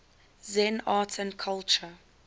zen art and culture